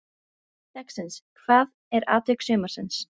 Spurning dagsins: Hvað er atvik sumarsins?